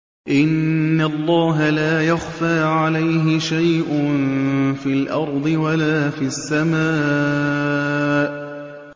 إِنَّ اللَّهَ لَا يَخْفَىٰ عَلَيْهِ شَيْءٌ فِي الْأَرْضِ وَلَا فِي السَّمَاءِ